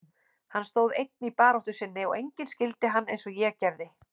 Hann stóð einn í baráttu sinni og enginn skildi hann eins og ég gerði.